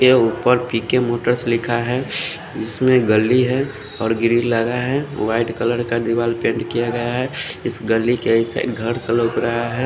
के उपर P K motors लिखा है इसमें गली है और ग्रिल लगा है वाइट कलर का दीवार पेंट किया गया है इस गली के इस साइड घर सा लग रहा है।